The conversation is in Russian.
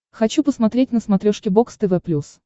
хочу посмотреть на смотрешке бокс тв плюс